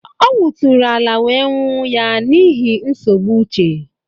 Ọ wuturu ala wee nwuụ ya n'ihi nsogbu uche